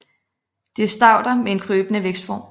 Det er stauder med en krybende vækstform